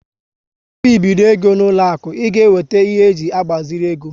Tupu ibiri égo n'uloaku, ị ga eweta ihe e ji agbaziri ego